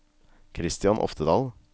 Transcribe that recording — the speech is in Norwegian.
Kristian Oftedal